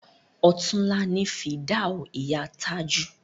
Ọ̀túnla ni fìdáù ìyá Tájù